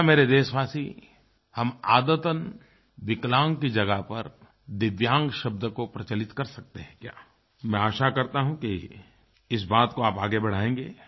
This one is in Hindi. क्या मेरे देशवासी हम आदतन विकलांग की जगह पर दिव्यांग शब्द को प्रचलित कर सकते हैं क्या मैं आशा करता हूँ कि इस बात को आप आगे बढ़ाएंगे